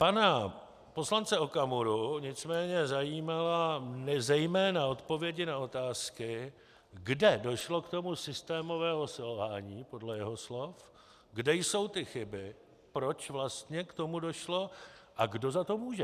Pana poslance Okamuru nicméně zajímaly zejména odpovědi na otázky, kde došlo k tomu systémovému selhání, podle jeho slov, kde jsou ty chyby, proč vlastně k tomu došlo, a kdo za to může.